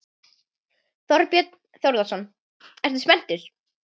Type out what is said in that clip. Þorbjörn Þórðarson: Ertu spenntur?